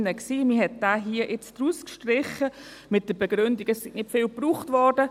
Man hat ihn hier jetzt herausgestrichen mit der Begründung, es sei nicht oft gebraucht worden.